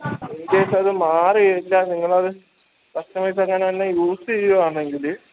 incase അത് മാറിയില്ല നിങ്ങളത് customise അങ്ങനെ use എയ്യുവാന്നെങ്കിൽ